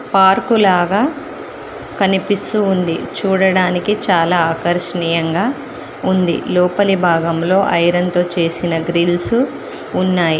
Park లాగా కనిపిస్తూ ఉంది చూడడానికి చాలా ఆకర్షణీయంగా ఉంది లోపలి భాగంలో ఐరన్ తో చేసిన గ్రిల్స్ ఉన్నాయి.